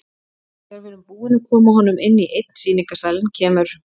Þegar við erum búin að koma honum inn í einn sýningarsalinn kemur